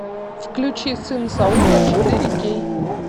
включи сын саула четыре кей